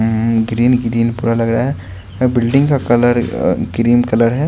Green green पूरा लग रहा है बिल्डिंग का कलर अह क्रीम कलर है।